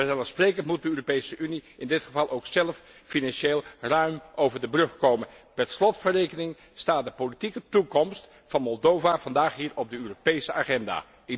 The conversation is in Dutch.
Vanzelfsprekend moet de Europese Unie in dit geval ook zelf financieel ruim over de brug komen. Per slot van rekening staat de politieke toekomst van Moldavië vandaag hier op de Europese agenda.